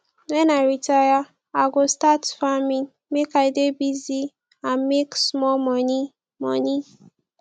wen i retire i go start farming make i dey busy and make small money money